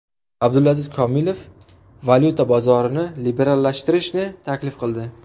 Abdulaziz Komilov valyuta bozorini liberallashtirishni taklif qildi.